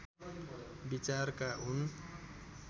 विचारका हुन्